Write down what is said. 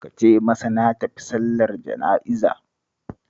Ka ce masa na tafi sallar jana'iza